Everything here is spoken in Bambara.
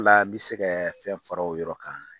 la n mɛ se kɛ fɛn fara o yɔrɔ kan.